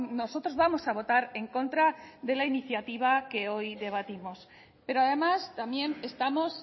nosotros vamos a votar en contra de la iniciativa que hoy debatimos pero además también estamos